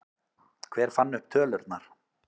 Hver fann upp tölurnar?